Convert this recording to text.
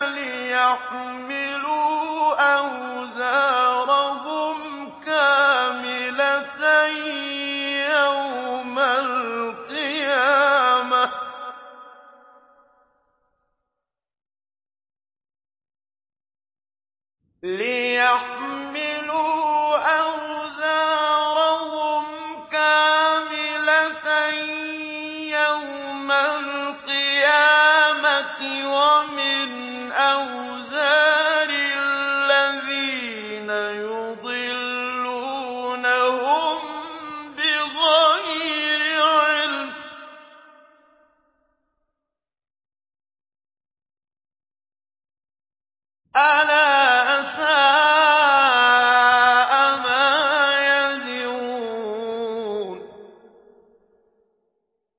لِيَحْمِلُوا أَوْزَارَهُمْ كَامِلَةً يَوْمَ الْقِيَامَةِ ۙ وَمِنْ أَوْزَارِ الَّذِينَ يُضِلُّونَهُم بِغَيْرِ عِلْمٍ ۗ أَلَا سَاءَ مَا يَزِرُونَ